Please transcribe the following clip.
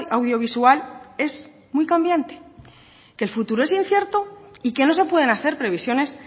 audiovisual es muy cambiante que el futuro es incierto y que no se pueden hacer previsiones